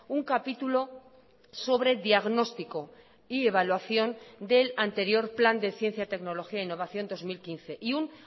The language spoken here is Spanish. un capítulo sobre diagnóstico y evaluación del anterior plan de ciencia tecnología e innovación dos mil quince y un